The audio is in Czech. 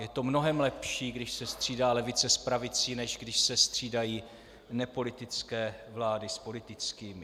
Je to mnohem lepší, když se střídá levice s pravicí, než když se střídají nepolitické vlády s politickými.